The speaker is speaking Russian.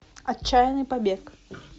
отчаянный побег